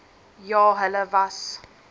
ja hulle was